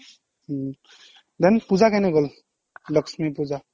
উম then পূজা কেনে গ'ল লক্ষ্মী পূজা